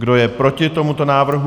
Kdo je proti tomuto návrhu?